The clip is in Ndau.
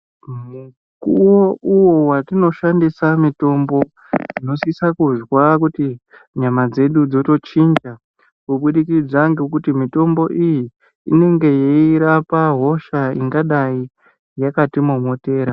Mukuwo uyo watinoshandisa mutombo tinosisa kuzwa kuti nyama dzedu dzotochinja kubudikidza ngekuti mitombo iyi inenge yeirapa hosha ingadai yakatimomotera.